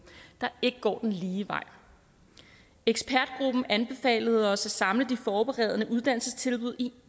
der ikke går den lige vej ekspertgruppen anbefalede os at samle de forberedende uddannelsestilbud i